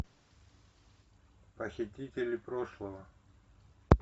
похитители прошлого